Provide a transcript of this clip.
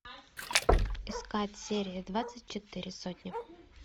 искать серия двадцать четыре сотня